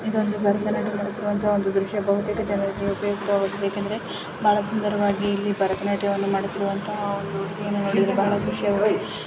ಇದು ಒಂದು ಭರತನಾಟ್ಯ ಮಾಡುತ್ತಿರುವಂತ ದೃಶ್ಯ. ಬಹುತೇಕ ಜನರಿಗೆ ಉಪಯುಕ್ತವಾಗಿದೆ ಯಾಕೆಂದ್ರೆ ಬಹಳ ಸುಂದರವಾಗಿ ಭರತನಾಟ್ಯವನ್ನು ಮಾಡುತ್ತಿರುವಂತಹ ಒಂದು ಹುಡುಗಿ ಅನ್ನು ನೂಡಿ ಬಹಳ ಖುಷಿ--